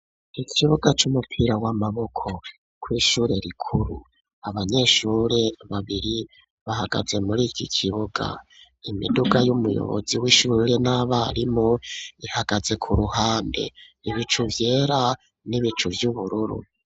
Ikibuga c'umupira w'amaboko kw'ishure rikuru abanyeshure babiri bahagaze muri iki kibuga imiduga y'umuyobozi w'ishure n'abarimu ihagaze ku ruhande ibicu vyera n'ibicu vy'ubururu.